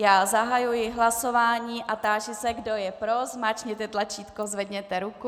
Já zahajuji hlasování a táži se, kdo je pro, zmáčkněte tlačítko, zvedněte ruku.